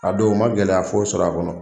A don n man gɛlɛya foyi sɔrɔ a kɔnɔ.